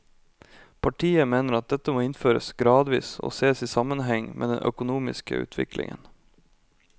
Partiet mener at dette må innføres gradvis og sees i sammenheng med den økonomiske utviklingen.